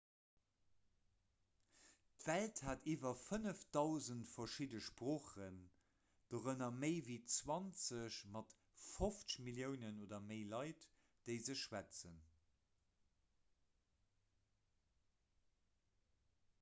d'welt hat iwwer 5 000 verschidde sproochen dorënner méi ewéi 20 mat 50 milliounen oder méi leit déi se schwätzen